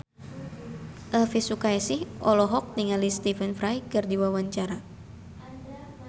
Elvy Sukaesih olohok ningali Stephen Fry keur diwawancara